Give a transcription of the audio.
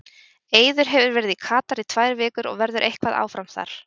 Eiður hefur verið í Katar í tvær vikur og verður eitthvað áfram þar.